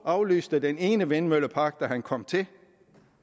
aflyste den ene vindmøllepark da han kom til